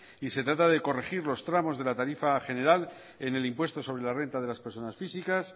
y se trata de corregir los tramos de la tarifa general en el impuesto sobre la renta de las personas físicas